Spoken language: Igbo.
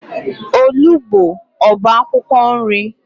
Olugbo ọ bụ akwụkwọ nri?